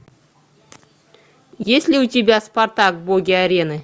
есть ли у тебя спартак боги арены